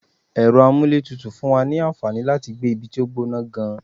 Ẹ̀rọ amúlétutù fún wa ní àǹfàní láti gbé ibi tó gbọ́nà gan-an.